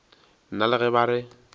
nna le ge ba re